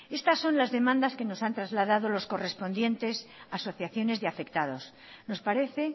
estas son las demandas que nos han traslado las correspondientes asociaciones de afectados nos parece